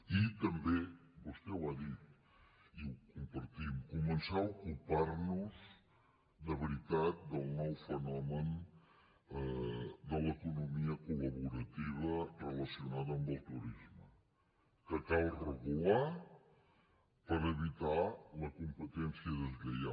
i també vostè ho ha dit i ho compartim començar a ocupar nos de veritat del nou fenomen de l’economia col·laborativa relacionada amb el turisme que cal regular per evitar la competència deslleial